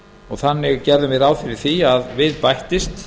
og þannig gerðum við ráð fyrir því að við bættist